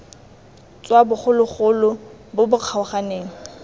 tswa bogologolo bo bo kgaoganeng